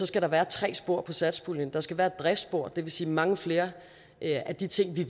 skal der være tre spor satspuljen der skal være et driftsspor det vil sige mange flere af de ting vi